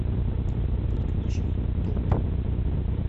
подключи топ